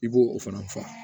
I b'o o fana fa